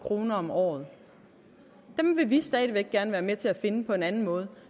kroner om året dem vil vi stadig væk gerne være med til at finde på en anden måde